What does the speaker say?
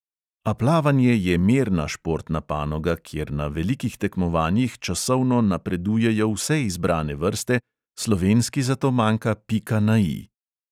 A plavanje je merna športna panoga, kjer na velikih tekmovanjih časovno napredujejo vse izbrane vrste, slovenski zato manjka pika na I.